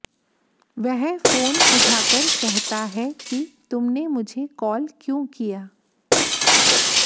वह फोन उठाकर कहता है कि तुमने मुझे कॉल क्यों किया